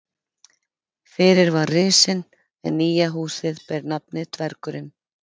Fyrir var Risinn en nýja húsið ber nafnið Dvergurinn.